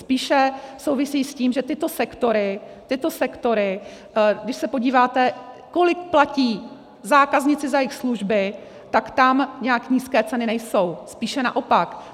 Spíše souvisí s tím, že tyto sektory, když se podíváte, kolik platí zákazníci za jejich služby, tak tam nijak nízké ceny nejsou, spíše naopak.